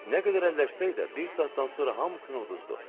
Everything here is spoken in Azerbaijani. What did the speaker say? Nə qədər əlləşsə də, bir saatdan sonra hamısını uduzduq.